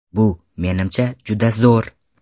Bu, menimcha, juda zo‘r!